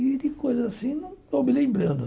E de coisa assim, não estou me lembrando.